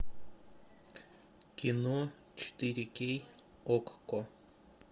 кино четыре кей окко